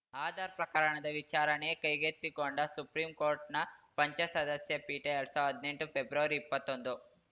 ಆಧಾರ್‌ ಪ್ರಕರಣದ ವಿಚಾರಣೆ ಕೈಗೆತ್ತಿಕೊಂಡ ಸುಪ್ರೀಂಕೋರ್ಟನ ಪಂಚ ಸದಸ್ಯ ಪೀಠ ಎರಡ್ ಸಾವಿರ್ದಾ ಹದ್ನೆಂಟು ಫೆಬ್ರವರಿಇಪ್ಪತ್ತೊಂದು